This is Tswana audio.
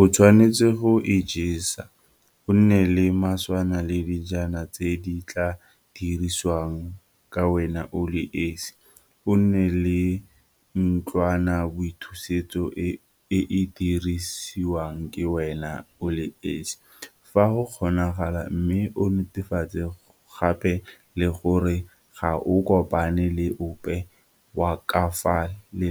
O tshwanetse go ijesa, o nne le maswana le dijana tse di tla dirisiwang ke wena o le esi, o nne le ntlwanaboithusetso e e dirisiwang ke wena o le esi, fa go kgonagala, mme o netefatse gape le gore ga o kopane le ope wa ka fa